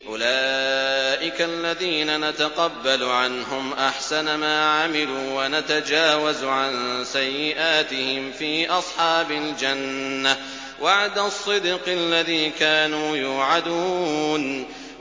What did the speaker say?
أُولَٰئِكَ الَّذِينَ نَتَقَبَّلُ عَنْهُمْ أَحْسَنَ مَا عَمِلُوا وَنَتَجَاوَزُ عَن سَيِّئَاتِهِمْ فِي أَصْحَابِ الْجَنَّةِ ۖ وَعْدَ الصِّدْقِ الَّذِي كَانُوا يُوعَدُونَ